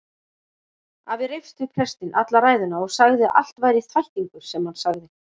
Afi reifst við prestinn alla ræðuna og sagði að allt væri þvættingur sem hann sagði.